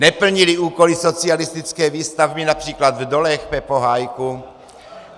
Neplnili úkoly socialistické výstavby například v dolech, Pepo Hájku?